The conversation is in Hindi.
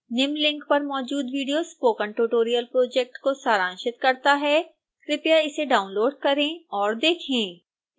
निम्न लिंक पर मौजूद विडियो स्पोकन ट्यूटोरियल प्रोजेक्ट को सारांशित करता है कृपया इसे डाउनलोड करें और देखें